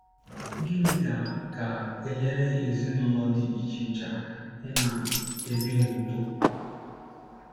Gịnị ga ga - enyere ezinụlọ dị iche iche aka ịna - ebi n’udo?